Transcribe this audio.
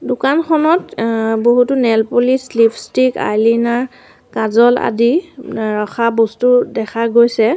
দোকানখনত আ বহুতো নেইলপ'লিছ লিপষ্টিক আইলিনাৰ কাজল আদি আ ৰখা বস্তু দেখা গৈছে।